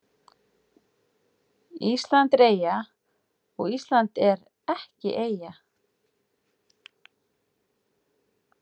Þrátt fyrir að markmið hans sé einfalt er samningurinn sjálfur ítarlegur og mikill að vöxtum.